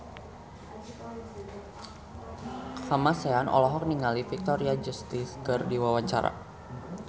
Kamasean olohok ningali Victoria Justice keur diwawancara